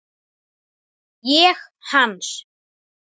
Ég hans.